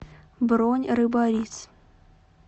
бронь рыбарис